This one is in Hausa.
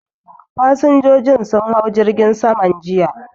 Fasinjojin sun hau jirgin saman jiya